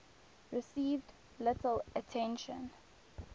received little attention